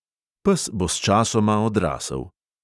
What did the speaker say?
Pes bo sčasoma odrasel.